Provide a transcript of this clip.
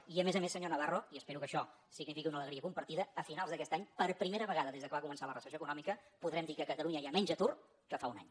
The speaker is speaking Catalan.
i a més a més senyor navarro i espero que això signifiqui una alegria compartida a finals d’aquest any per primera vegada des que va començar la recessió econòmica podrem dir que a catalunya hi ha menys atur que fa un any